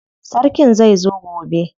Sarkin zai zo gobe.